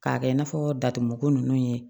K'a kɛ i n'a fɔ datuguko nunnu ye